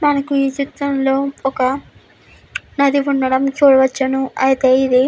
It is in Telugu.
మనకి ఈ చిత్రం లో ఒక నది ఉండడం చూడవచ్చును అయితే ఇది --